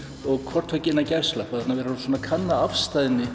og hvort tveggja innan gæsalappa þannig að við erum að kanna